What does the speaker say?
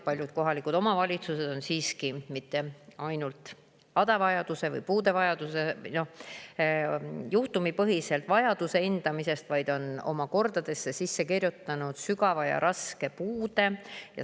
Paljud kohalikud omavalitsused vajadust või puuet mitte juhtumipõhiselt, vaid on oma kordadesse sisse kirjutanud sügava ja raske puude.